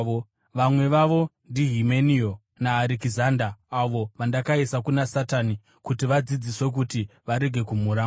Vamwe vavo ndiHimenio naArekizanda, avo vandakaisa kuna Satani kuti vadzidziswe kuti varege kumhura Mwari.